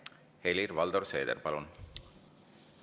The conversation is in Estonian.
Helir-Valdor Seeder, palun!